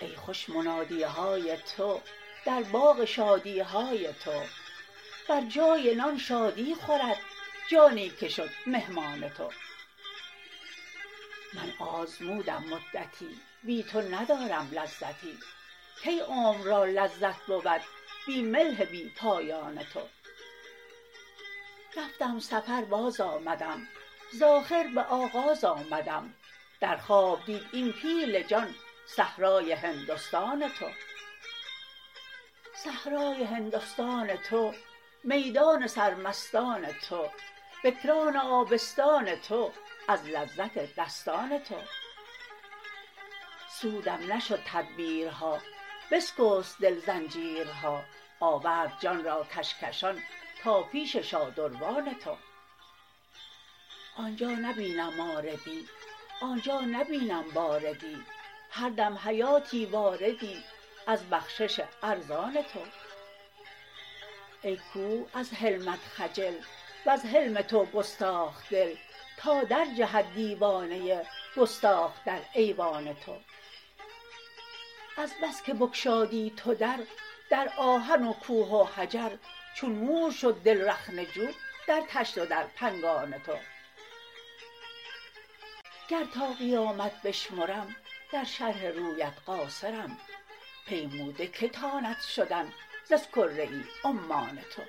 ای خوش منادی های تو در باغ شادی های تو بر جای نان شادی خورد جانی که شد مهمان تو من آزمودم مدتی بی تو ندارم لذتی کی عمر را لذت بود بی ملح بی پایان تو رفتم سفر بازآمدم ز آخر به آغاز آمدم در خواب دید این پیل جان صحرای هندستان تو صحرای هندستان تو میدان سرمستان تو بکران آبستان تو از لذت دستان تو سودم نشد تدبیرها بسکست دل زنجیرها آورد جان را کشکشان تا پیش شادروان تو آن جا نبینم ماردی آن جا نبینم باردی هر دم حیاتی واردی از بخشش ارزان تو ای کوه از حلمت خجل وز حلم تو گستاخ دل تا درجهد دیوانه ای گستاخ در ایوان تو از بس که بگشادی تو در در آهن و کوه و حجر چون مور شد دل رخنه جو در طشت و در پنگان تو گر تا قیامت بشمرم در شرح رویت قاصرم پیموده کی تاند شدن ز اسکره عمان تو